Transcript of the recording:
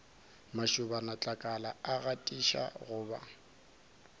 mašobanatlakala a atiša go ba